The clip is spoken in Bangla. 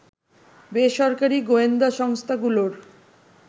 বেসরকারী গোয়েন্দা সংস্থাগুলোর